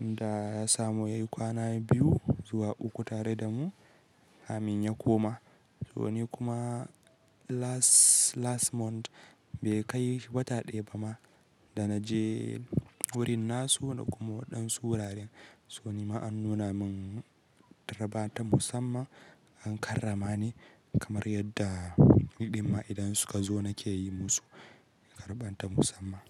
da ya samu yayi kwana biyu zuwa uku tare da mu, kamin ya koma. Soni kuma last, last month bai kai wata ɗaya ba ma da na je wurin nasu na kuma waɗansu wuraren. Soni ma an nuna min tarba ta musamman an karrama ni kamar yadda ni ɗin ma idan suka zo nake yi musu tarba ta musamman.